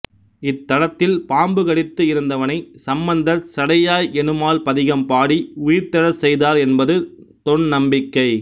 இத்தலத்தில் பாம்பு கடித்து இறந்தவனைச் சம்பந்தர் சடையாய் எனுமால் பதிகம் பாடி உயிர்த்தெழச் செய்தார் என்பது தொன்நம்பிக்கை